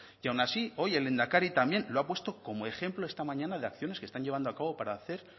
y aun así hoy el lehendakari también lo ha puesto como ejemplo esta mañana de acciones que están llevando a cabo para hacer